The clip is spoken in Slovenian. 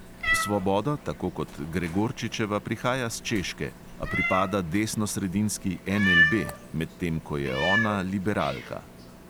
Svoboda tako kot gregorčičeva prihaja s češke, a pripada desnosredinski NLB, medtem ko je ona liberalka.